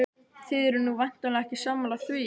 Þið eruð nú væntanlega ekki sammála því?